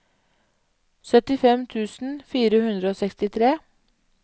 syttifem tusen fire hundre og sekstitre